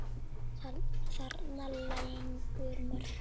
Þarna lágu mörkin.